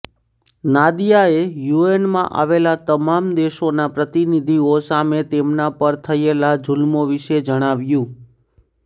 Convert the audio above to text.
નાદિયાએ યુએનમાં આવેલા તમામ દેશોના પ્રતિનિધિઓ સામે તેમના પર થયેલા જુલ્મો વિશે જણાવ્યુ